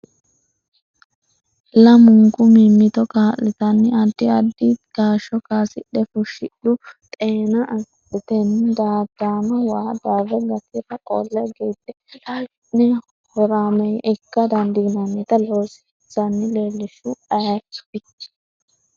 Lamunku mimmito kaa’litanni addi addi kaashsho kaasidhe fushshidhu. Xeena agadhantenni daadanno waa darre gatira qolle gide laashshi’ne horaameeyye ikka dandiinannita loosinsanni leellishshuhu ayirati?